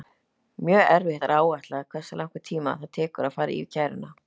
Mjög erfitt er að áætla hversu langan tíma það tekur að fara yfir kæruna.